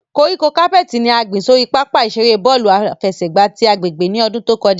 Koríko capeti ni a gbin sori papa-iṣere bọọlu afẹsẹgba ti agbegbe ni ọdun to kọja.